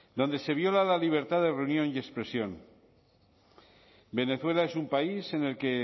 donde se viola la libertad de reunión y expresión venezuela es un país en el que